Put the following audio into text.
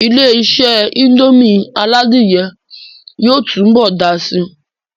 Ilé-isé indomie aládìyẹ yóò tún bọ̀ dàá si